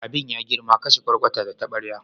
Abin ya girma, kashe kwarkwata da tabarya.